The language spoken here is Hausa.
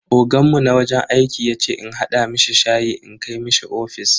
Oganmu na wajen aiki yace in hada mishi shayi in kai mishi ofis.